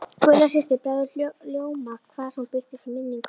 Gulla systir bregður ljóma hvar sem hún birtist í minningunni.